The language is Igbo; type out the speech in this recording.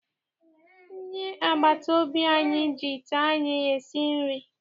Onye agbataobi anyị ji ite anyị esi nri.